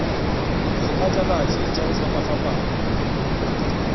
le diphatlalatši tša go fapafapana